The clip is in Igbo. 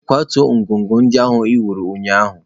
Kwatuo ngọngọ ndị ị wuru ụnyaahụ.